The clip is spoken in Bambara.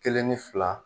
Kelen ni fila